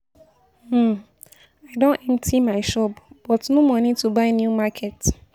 um I don empty my shop but no money to buy new market